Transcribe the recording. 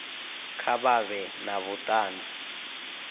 kha vha vhe na vhutanzi